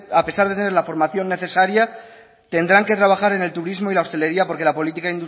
a pesar de tener la formación necesaria tendrán que trabajar en el turismo y la hostelería porque la política